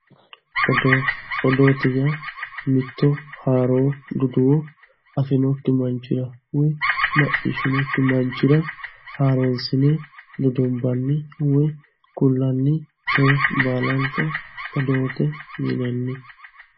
Odoo, odoote yaa mitto haaro duduwo mitto afinokki manchira woy macciishshinokki manchira haaroonsine dudumbanni woy kullanni coye baalanka odoote yinanni.